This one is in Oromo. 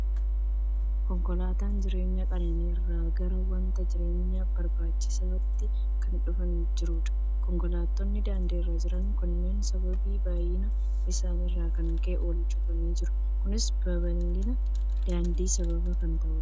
Konkolaataan jireenya qananii irraa gara wanta jireenyaaf barbaachisuutti kan dhufaa jirudha. Konkolaatonni daandii irra jiran kunneen sababii baay'ina isaanii irraa kan ka'e, wal cufanii jiru. Kunis babal'ina daandiif sababa kan ta'udha.